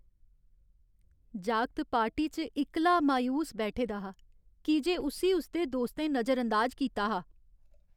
जागत पार्टी च इक्कला मायूस बैठे दा हा की जे उस्सी उसदे दोस्तें नजरअंदाज कीता हा।